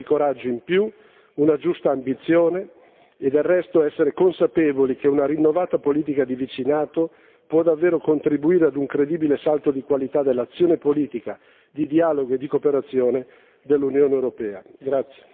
Per questo occorre un po' di coraggio in più, una giusta ambizione e la consapevolezza che una rinnovata politica di vicinato può davvero contribuire a un credibile salto di qualità dell'azione politica di dialogo e di cooperazione dell'Unione europea.